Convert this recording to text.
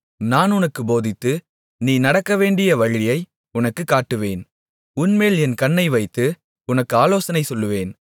நான் உனக்குப் போதித்து நீ நடக்கவேண்டிய வழியை உனக்குக் காட்டுவேன் உன்மேல் என் கண்ணை வைத்து உனக்கு ஆலோசனை சொல்லுவேன்